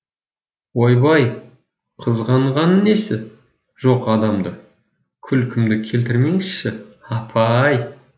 ойбай қызғанғаны несі жоқ адамды күлкімді келтірмеңізші апаааай